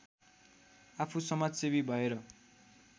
आफू समाजसेवी भएर